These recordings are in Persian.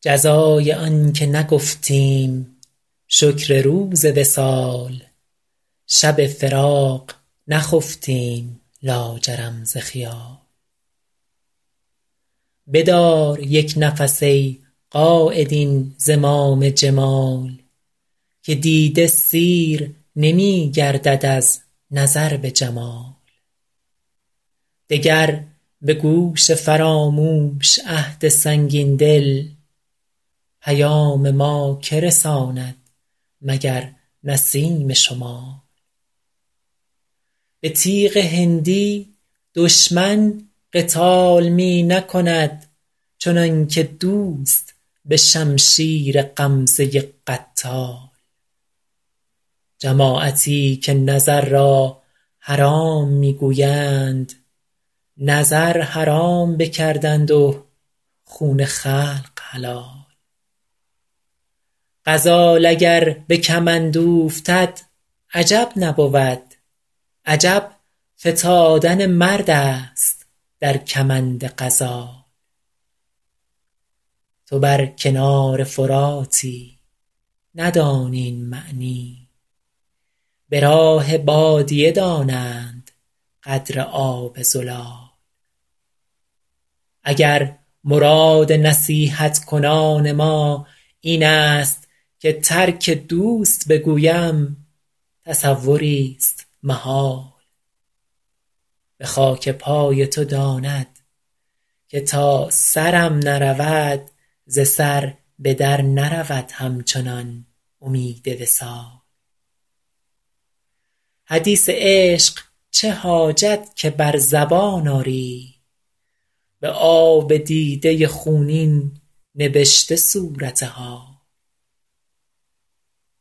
جزای آن که نگفتیم شکر روز وصال شب فراق نخفتیم لاجرم ز خیال بدار یک نفس ای قاید این زمام جمال که دیده سیر نمی گردد از نظر به جمال دگر به گوش فراموش عهد سنگین دل پیام ما که رساند مگر نسیم شمال به تیغ هندی دشمن قتال می نکند چنان که دوست به شمشیر غمزه قتال جماعتی که نظر را حرام می گویند نظر حرام بکردند و خون خلق حلال غزال اگر به کمند اوفتد عجب نبود عجب فتادن مرد است در کمند غزال تو بر کنار فراتی ندانی این معنی به راه بادیه دانند قدر آب زلال اگر مراد نصیحت کنان ما این است که ترک دوست بگویم تصوریست محال به خاک پای تو داند که تا سرم نرود ز سر به در نرود همچنان امید وصال حدیث عشق چه حاجت که بر زبان آری به آب دیده خونین نبشته صورت حال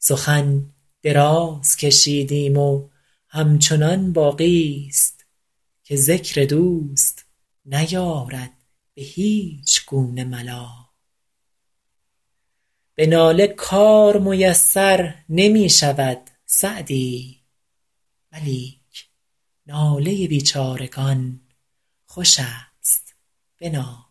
سخن دراز کشیدیم و همچنان باقیست که ذکر دوست نیارد به هیچ گونه ملال به ناله کار میسر نمی شود سعدی ولیک ناله بیچارگان خوش است بنال